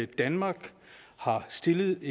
danmark har stillet